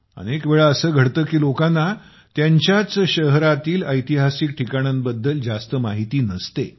अनेक वेळा असे घडते की लोकांना त्यांच्याच शहरातील ऐतिहासिक ठिकाणांबद्दल जास्त माहिती नसते